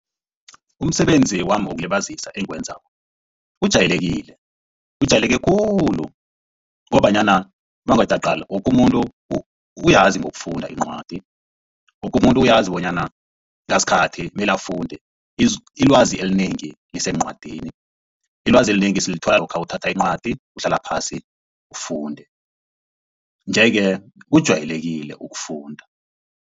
Umsebenzi wami wokulibazisa engiwenzako ujayelekile ujayeleke khulu ngombanyana mawungathi uyaqala, woke umuntu uyazi ngokufunda iincwadi, woke umuntu uyazi bonyana ngasikhathi mele afunde ilwazi elinengi liseencwadini. Ilwazi elinengi silithola lokha uthatha incwadi uhlala phasi ufunde nje-ke kujwayelekile ukufunda.